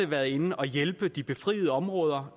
været inde at hjælpe i de befriede områder